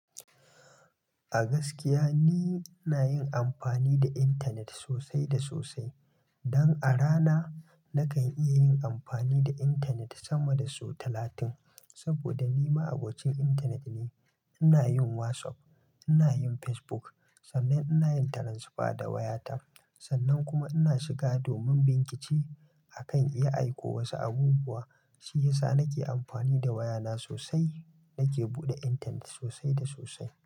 A gaskiya ni ina yin amfani da internet sosai da sosai. Don a rana nakan iya yin amfani da internet sama da sau talatin. Saboda ni ma'abocin internet ne. Ina yin WhatsApp, ina yin Facebook. Sannan ina yin transfer da wayata. Sannan kuma ina shiga domin bincike akan iya aiko wasu abubuwa. Shi yasa nake amfani da wayana sosai. Nake buɗe intanet sosai da sosai.